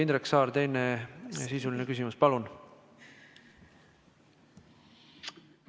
Indrek Saar, teine sisuline küsimus, palun!